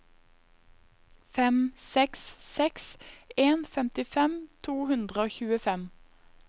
fem seks seks en femtifem to hundre og tjuefem